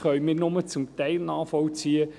Diesen können wir nur zum Teil nachvollziehen.